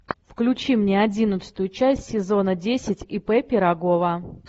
включи мне одиннадцатую часть сезона десять ип пирогова